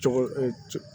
Cogo